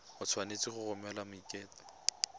o tshwanetse go romela maiteko